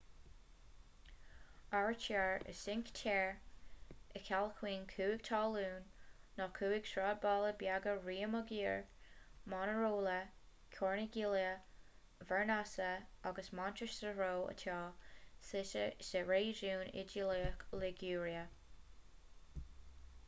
áirítear i cinque terre a chiallaíonn cúig thalún na cúig sráidbhaile bheaga riomaggiore manarola corniglia vernazza agus monterosso atá suite sa réigiún iodálach liguria